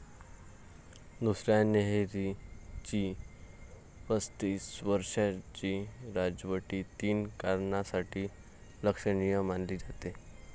दुसऱ्या हेनरीची पस्तीस वर्षाची राजवट तीन कारणांसाठी लक्षणीय मानली जाते.